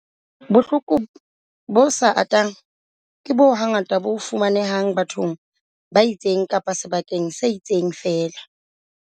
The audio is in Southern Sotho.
Bohloko bo sa atang ke boo hangata bo fumanehang bathong ba itseng kapa sebakeng se itseng feela.